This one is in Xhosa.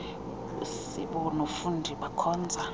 usibu nofundi bakhonza